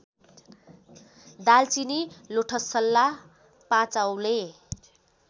दालचिनी लोठसल्ला पाँचऔँले